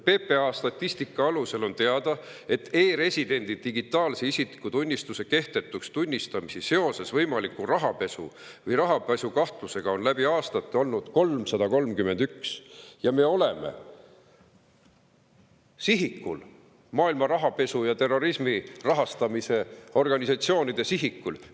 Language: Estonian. PPA statistika alusel on teada, et e‑residendi digitaalse isikutunnistuse kehtetuks tunnistamisi seoses võimaliku rahapesu või rahapesukahtlusega on läbi aastate olnud 331 ja me oleme sihikul, maailma rahapesu ja terrorismi rahastamise organisatsioonide sihikul.